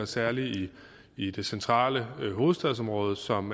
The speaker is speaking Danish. særlig i det centrale hovedstadsområde som